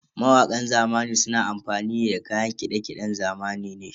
Mawakan zamani suna amfani ne da kayan kiɗe-kiɗen zamani ne.